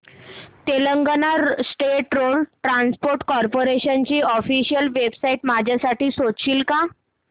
Telangana state road transport corporation ची official website माझ्यासाठी शोधशील का